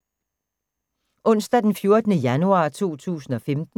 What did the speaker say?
Onsdag d. 14. januar 2015